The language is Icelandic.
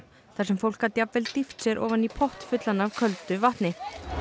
þar sem fólk gat jafnvel dýft sér ofan í pott fullan af köldu vatni